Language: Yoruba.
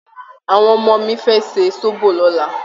Àwọn ọmọ mi fẹ́ ṣe sóbò lọ́la